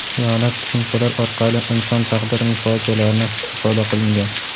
hiyonat tushunchalar orqali inson taqdirining fojialarini ifoda qilingan.